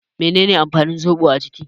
Me ne ne amfanin zobo a jiki?